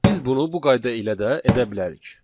Biz bunu bu qayda ilə də edə bilərik.